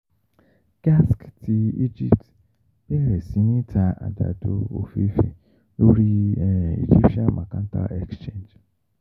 GASC ti Egypt bẹrẹ si ni ta àgbàdo ofeefee lori Egyptian Mercantile Exchange.